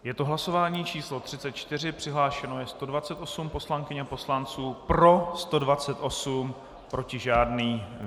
Je to hlasování číslo 34, přihlášeno je 128 poslankyň a poslanců, pro 128, proti žádný.